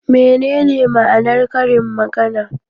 Menene ma'anar karin magana?